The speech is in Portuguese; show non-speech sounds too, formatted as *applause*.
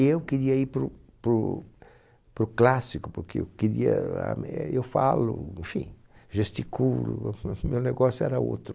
E eu queria ir para o para o para o clássico, porque eu queria ah meh, eu falo, enfim, gesticulo, *laughs* meu negócio era outro.